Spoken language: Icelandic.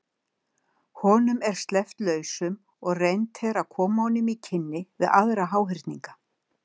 Honum er sleppt lausum og reynt er að koma honum í kynni við aðra háhyrninga.